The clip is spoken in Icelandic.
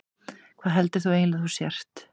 Hvað heldur þú eiginlega að þú sért?